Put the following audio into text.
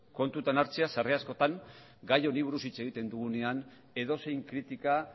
kontutan hartzea sarri askotan gai honi buruz hitz egiten dugunean edozein kritika